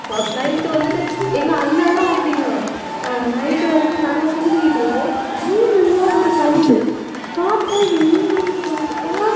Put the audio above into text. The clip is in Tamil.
வ~ night வந்துட்டு, எங்க அண்ணன் எல்லாம் அப்படிதான். ஆஹ் night வந்துட்டு நல்லா தூங்கிட்டு இருக்கோம். திடீருன்னு இருந்தாலும் ஒரு sound பார்த்தா என்னன்னு பாத்தா,